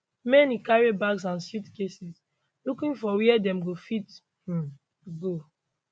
many carry bags and suitcases looking for wia dem go fit um go